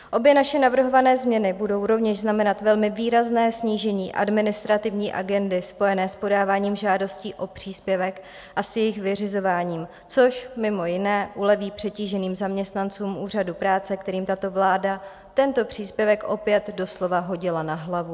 Obě naše navrhované změny budou rovněž znamenat velmi výrazné snížení administrativní agendy spojené s podáváním žádostí o příspěvek a s jejich vyřizováním, což mimo jiné uleví přetíženým zaměstnancům úřadů práce, kterým tato vláda tento příspěvek opět doslova hodila na hlavu.